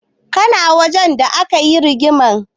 Kana wajen da aka yi rigimar?